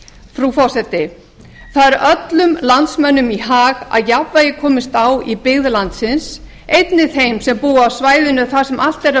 frú forseti það er öllum landsmönnum í hag að jafnvægi komist á í byggð landsins einnig þeim sem búa á svæðinu þar sem allt er að